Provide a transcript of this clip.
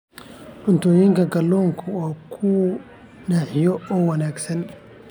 Cuntooyinka kalluunku waa kuwo naaxiya oo wanaagsan.